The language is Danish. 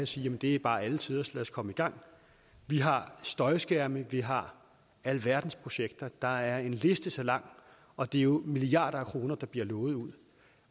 sige det er bare alle tiders lad os komme i gang vi har støjskærme vi har alverdens projekter der er en liste så lang og det er jo milliarder af kroner der bliver lovet ud